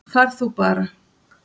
Far þú bara